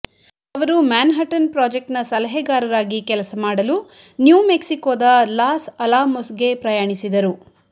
ಅವರು ಮ್ಯಾನ್ಹ್ಯಾಟನ್ ಪ್ರಾಜೆಕ್ಟ್ನ ಸಲಹೆಗಾರರಾಗಿ ಕೆಲಸ ಮಾಡಲು ನ್ಯೂ ಮೆಕ್ಸಿಕೋದ ಲಾಸ್ ಅಲಾಮೊಸ್ಗೆ ಪ್ರಯಾಣಿಸಿದರು